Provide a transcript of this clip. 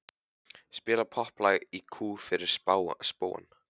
Spila popplag í kú fyrir spóann.